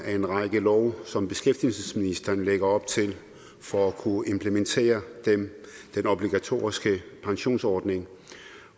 af en række love som beskæftigelsesministeren lægger op til for at kunne implementere den obligatoriske pensionsordning